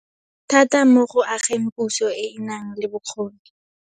thata mo go ageng puso e e nang le bokgoni.